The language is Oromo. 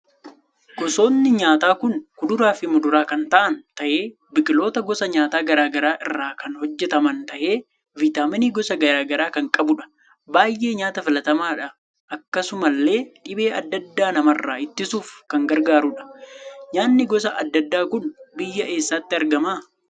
Gosni nyaataa kun kuduraa fi muduraa kan taa'aan tahee biqiloota gosa nyaataa garaagaraa irraa kan hojjetaman tahee vitaamiinii gosa garaagaraa kan qabuudha. baay'ee nyaata filatamaadha akkasumallee dhibee adda addaa namarraa ittisuuf kan gargaarudha. nyaanni gosa adda addaa kun biyya eessaatti argama